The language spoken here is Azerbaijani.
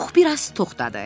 Pux biraz toxdadı.